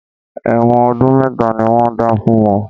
Ẹ̀wọ̀n ọdún mẹ́ta ni wọ́n dá fún wọn